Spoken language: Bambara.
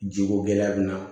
Jiko gɛlɛya bɛna